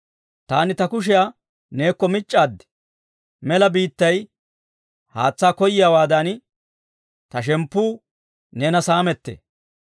Taani ta kushiyaa neekko mic'c'aad; mela biittay haatsaa koyiyaawaadan, ta shemppuu neena saamettee.